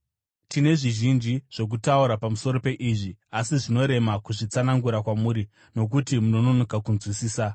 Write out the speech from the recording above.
Tine zvizhinji zvokutaura pamusoro peizvi, asi zvinorema kuzvitsanangura kwamuri nokuti munononoka kunzwisisa.